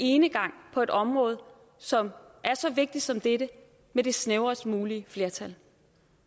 enegang på et område som er så vigtigt som dette med det snævrest mulige flertal